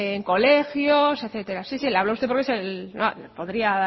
en colegios etcétera sí sí le hablo a usted porque es podría